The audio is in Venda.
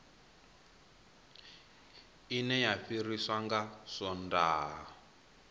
ine ya fariwa nga swondaha